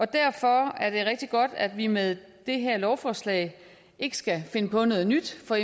derfor er det rigtig godt at vi med det her lovforslag ikke skal finde på noget nyt for